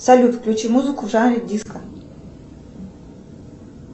салют включи музыку в жанре диско